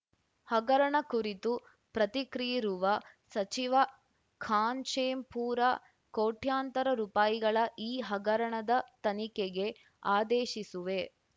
ಹಗರಣ ಕುರಿತು ಪ್ರತಿಕ್ರಿಯಿರುವ ಸಚಿವ ಖಾಶೆಂಪೂರ ಕೋಟ್ಯಂತರ ರುಪಾಯಿಗಳ ಈ ಹಗರಣದ ತನಿಖೆಗೆ ಆದೇಶಿಸುವೆ